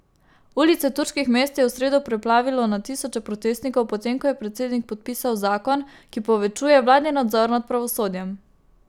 Ulice turških mest je v sredo preplavilo na tisoče protestnikov po tem, ko je predsednik podpisal zakon, ki povečuje vladni nadzor nad pravosodjem.